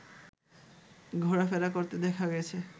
ঘোরাফেরা করতে দেখা গেছে